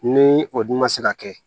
Ni o dun ma se ka kɛ